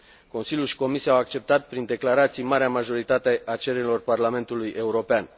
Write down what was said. Consiliul și Comisia au acceptat prin declarații marea majoritate a cererilor Parlamentului European.